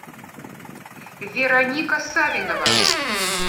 вероника савинова